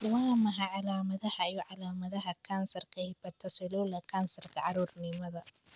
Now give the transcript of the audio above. Waa maxay calaamadaha iyo calaamadaha kansarka Hepatocellular kansarka, carruurnimada?